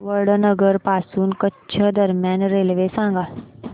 वडनगर पासून कच्छ दरम्यान रेल्वे सांगा